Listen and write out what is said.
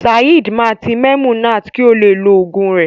Saeed ma ti Memunat ki o le lo ogun rẹ.